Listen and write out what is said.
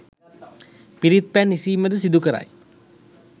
පිරිත් පැන් ඉසීම ද සිදු කරයි.